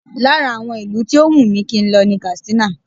Lára àwọn ìlú tó wùn mí kí n lọ ní Katsina